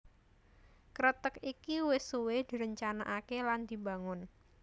Kreteg iki wis suwé direncanakaké lan dibangun